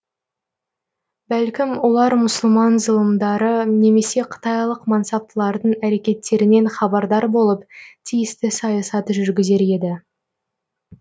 бәлкім олар мұсылман зылымдары немесе қытайлық мансаптылардың әрекеттерінен хабардар болып тиісті саясат жүргізер еді